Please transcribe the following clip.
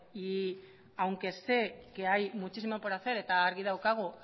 y aunque sé que hay muchísimo por hacer eta argi daukagu